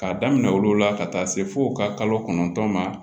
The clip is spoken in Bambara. K'a daminɛ olu la ka taa se fo ka kalo kɔnɔntɔn ma